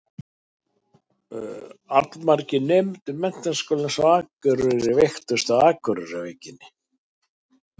Allmargir nemendur Menntaskólans á Akureyri veiktust af Akureyrarveikinni.